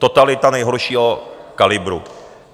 Totalita nejhoršího kalibru!